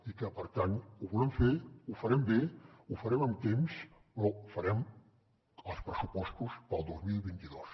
i que per tant ho volem fer ho farem bé ho farem amb temps però farem els pressupostos per al dos mil vint dos